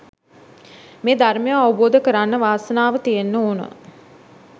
මේ ධර්මය අවබෝධ කරන්න වාසනාව තියෙන්න ඕන